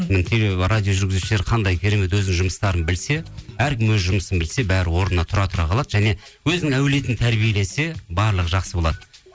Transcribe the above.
радио жүргізушілер қандай керемет өзінің жұмыстарын білсе әркім өз жұмысын білсе бәрі орнына тұра тұра қалады және өзінің әулетін тәрбиелесе барлығы жақсы болады